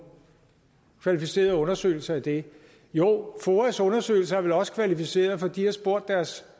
kvalificeret undersøgelse af det jo foas undersøgelse er vel også kvalificeret for de har spurgt deres